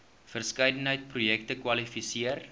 verskeidenheid projekte kwalifiseer